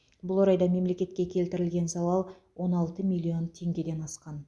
бұл орайда мемлекетке келтірілген залал он алты миллион теңгеден асқан